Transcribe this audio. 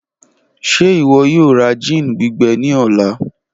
Ṣe iwọ yoo ra gin gbigbẹ ni ọla?